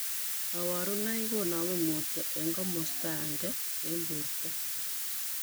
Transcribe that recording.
Kaborunoik konomee mutyo eng' komostaenge eng' borto